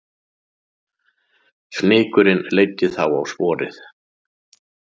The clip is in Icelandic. Fnykurinn leiddi þá á sporið